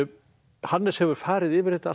Hannes hefur farið yfir þetta allt